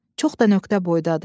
Çox da nöqtə boydadır.